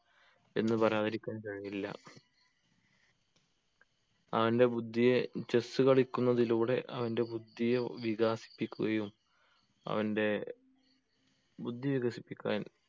എന്ന് പറയാതിരിക്കാൻ കഴിയില്ല അവൻ്റെ ബുദ്ധിയെ chess കളിക്കുന്നതിലൂടെ അവൻ്റെ ബുദ്ധിയെ വികാസിപ്പിക്കുകയും അവൻ്റെ ബുദ്ധി വികസിപ്പിക്കാൻ